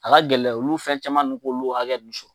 A ka gɛlɛ olu fɛn caman nun k'olu hakɛ nun sɔrɔ